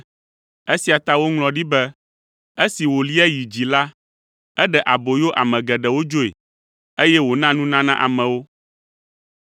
Esia ta woŋlɔ ɖi be, “Esi wòlia yi dzi la, eɖe aboyo ame geɖewo dzoe, eye wòna nunana amewo.”